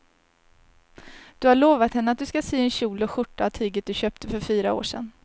Du har lovat henne att du ska sy en kjol och skjorta av tyget du köpte för fyra år sedan.